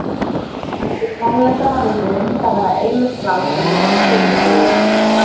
Eftir tónleikana vildi Linda vera ein með strák sem hún var að skjóta sig í.